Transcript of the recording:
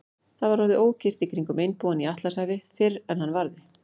Það var orðið ókyrrt í kringum einbúann í Atlantshafi, fyrr en hann varði.